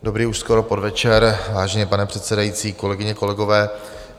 Dobrý už skoro podvečer, vážený pane předsedající, kolegyně, kolegové.